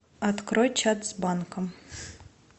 открой чат с банком